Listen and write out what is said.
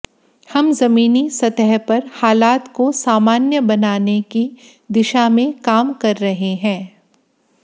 हम जमीनी सतह पर हालात को सामान्य बनाने की दिशा में काम कर रहे हैं